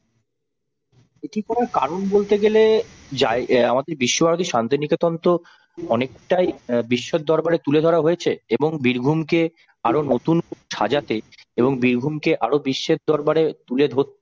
এটি করার কারণ বলতে গেলে যায় অ্যাঁ আমাদের বিশ্বভারতী শান্তিনিকেতন তো অনেকটাই অ্যাঁ বিশ্বের দরবারে তুলে ধরা হয়েছে এবং বীরভূমকে আরো নতুন করে সাজাতে এবং বীরভূমকে আরও বিশ্বের দরবারে তুলে ধরতে